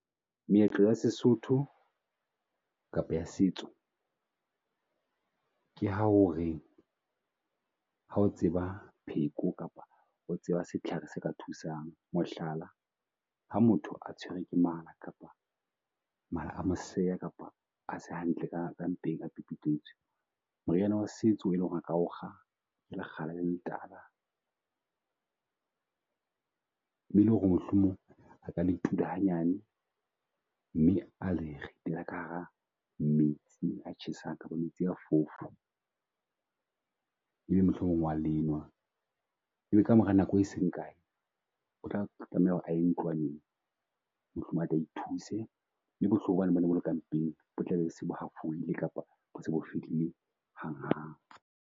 Meetlo ya Sesotho kapa ya setso, ke ha o re ha o tseba pheko kapa o tseba setlhare se ka thusang. Mohlala, ha motho a tshwere ke mala kapa mala a mo seja kapa ase hantle ka mpeng a pipitletswe. Moriana wa setso e leng ho re a ka o kga ke lekgala le letla. Mme e le ho re mohlomong a ka le tula hanyane, mme a le ritela ka hara metsi tjhesang kapa metsi a fofo. E be mohlomong o wa lenwa, e be ka mora nako e seng kae o tla tlameha ho re a ye ntlwaneng mohlomong atle a thuse. Mme bohloko ba ne bo ne bo le ka mpeng bo tle be se bo hafoeile kapa bo se bo fedile hang hang.